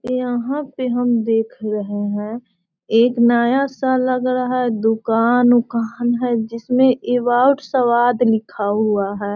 यहाँ पे हम देख रहें है एक नया सा लग रहा है दुकान-वुकन है जिसमे स्वाद लिखा हुआ है।